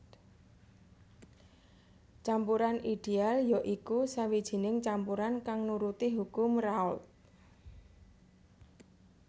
Campuran ideal ya iku sawijining campuran kang nuruti hukum Raoult